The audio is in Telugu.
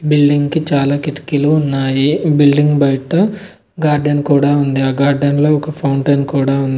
బిల్డింగ్ కి చాలా కిటికీలు ఉన్నాయి. బిల్డింగ్ బయట గార్డెన్ కూడా ఉంది. ఆ గార్డెన్ లో ఒక ఫౌంటెన్ కూడా ఉంది.